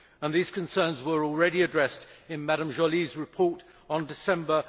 These concerns were already addressed in Ms Joly's report in December